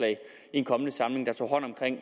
en kommende samling der tog hånd om